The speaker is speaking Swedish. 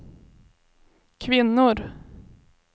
kvinnor